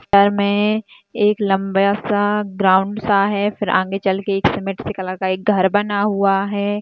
मे एक लंबा-सा ग्राउंड सा है फिर आगे चल के एक सीमेंट सी कलर का एक घर बना हुआ है।